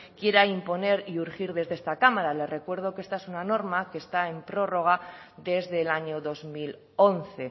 quiera imponer y urgir desde esta cámara le recuerdo que esta es una norma que está en prórroga desde el año dos mil once